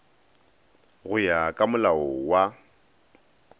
go ya ka molao wa